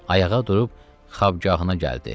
Ayağa durub Xabgahına gəldi.